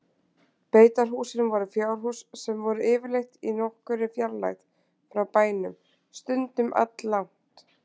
Beitarhúsin voru fjárhús sem voru yfirleitt í nokkurri fjarlægð frá bænum, stundum alllangt.